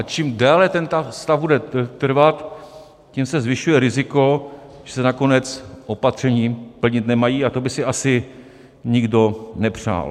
A čím déle ten stav bude trvat, tím se zvyšuje riziko, že se nakonec opatření plnit nemají, a to by si asi nikdo nepřál.